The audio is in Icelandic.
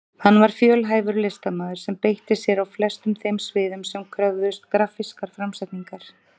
Hann var fjölhæfur listamaður sem beitti sér á flestum þeim sviðum sem kröfðust grafískrar framsetningar.